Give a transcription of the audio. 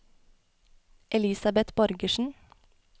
Elisabet Borgersen